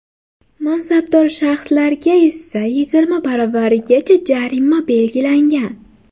mansabdor shaxslarga esa yigirma baravarigacha jarima belgilangan.